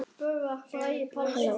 Elsku Lindi.